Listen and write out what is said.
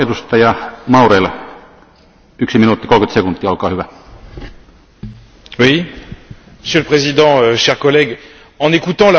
Monsieur le Président, chers collègues, en écoutant la Commission, j'ai parfois l'impression que tout va bien dans le meilleur des mondes.